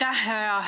Aitäh!